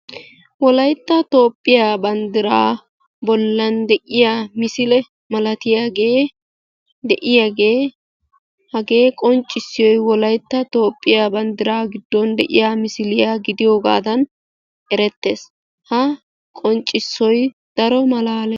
Wolaytta toophphiya banddiraa bollan de7iya misile malatiyaagee de7iyaagee hagee qonccissiyiyoyi wolaytta toophphiya banddiraa gidfon de7iya misiliya gidiyoogaadan erettes. Ha qonccissoyi daro malaales.